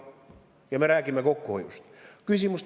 Ja me räägime kokkuhoiust!